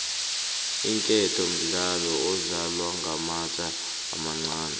iinketo mdlalo odlalwa ngamatje amancani